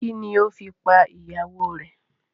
Kini o fi pa ìyàwó rè?